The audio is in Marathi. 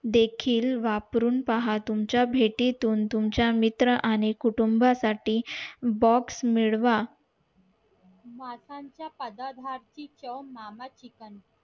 देखील पावरून पहा तुमच्या भेटीतून तुमच्या मित्र आणि कुटुंबा box मिळवा